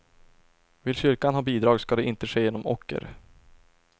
Vill kyrkan ha bidrag ska det inte ske genom ocker.